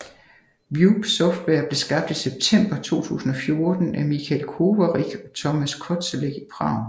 Wube Software blev skabt i september 2014 af Michal Kovařík og Tomáš Kozelek i Prag